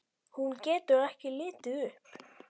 Hún getur ekki litið upp.